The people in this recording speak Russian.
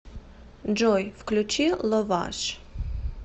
джой включи ловаж